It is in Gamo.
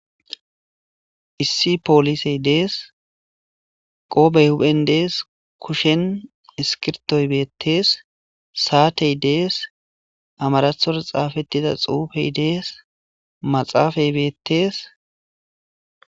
Issi poolisey dees qoobey hupen dees kushen iskirtoy beettees saatey dees amarathora xaafettida xuufey dees maxaafay beettees.